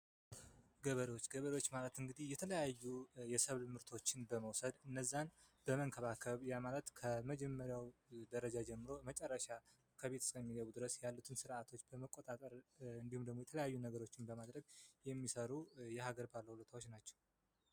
ገበሬዎች ገበሬዎች ማለት እንግዲህ የተለያዩ የሰብል ምርቶችን በመውሰድ እነዚያን በመንከባከብ ያ ማለት ከመጀመሪያው ጀምሮ እስከ መጨረሻው ደረጃ ከቤት እስኪገቡ ድረስ ያሉትን ስርዓቶች በመቆጣጠር እንዲሁም ደግሞ የተለያዩ ነገሮችን በማድረግ የሚሰሩ የሀገር ባለውለታዎች ናቸው።